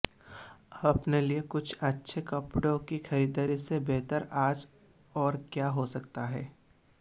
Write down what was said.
अपने लिए कुछ अच्छे कपड़ों की ख़रीदारी से बेहतर आज और क्या हो सकता है